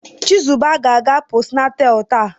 Chizuba ga-aga postnatal taa.